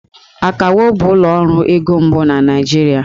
Akawo bụ ụlọ ọrụ ego mbụ na Naịjirịa